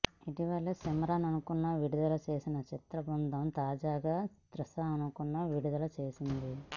ఇటీవలే సిమ్రన్ లుక్ను విడుదల చేసిన చిత్రబృందం తాజాగా త్రిష లుక్ను విడుదల చేసింది